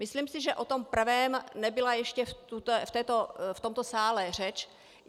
Myslím si, že o tom prvém nebyla ještě v tomto sále řeč.